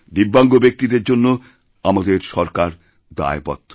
দিব্যাঙ্গ ব্যক্তিদের জন্য আমাদের সরকার দায়বদ্ধ